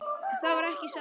Það var ekki satt.